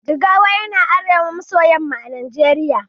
Jigawa yana arewa maso yamma a najeriya